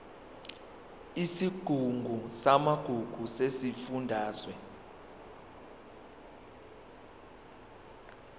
isigungu samagugu sesifundazwe